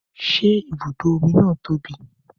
Ṣé ibùdó omi na tóbi?